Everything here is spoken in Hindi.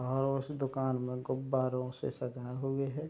और उस दुकान में गुब्बारो से सजाये हुए है।